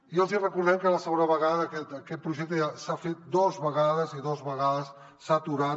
i els hi recordem que era la segona vegada aquest projecte ja s’ha fet dos vegades i dos vegades s’ha aturat